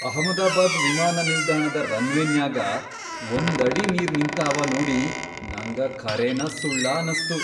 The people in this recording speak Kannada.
ಅಹಮದಾಬಾದ್ ವಿಮಾನ ನಿಲ್ದಾಣದ ರನ್ವೇನ್ಯಾಗ ಒಂದ್ ಅಡಿ ನೀರ್ ನಿಂತಾವ ನೋಡಿ ನಂಗ ಖರೇನ ಸುಳ್ಳ ಅನಸ್ತು.